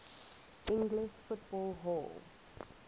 english football hall